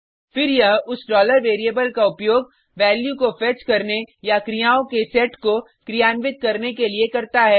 फिर यह उस variable का उपयोग वैल्यू को फेच करने या क्रियाओं के सेट को क्रियान्वित करने के लिए करता है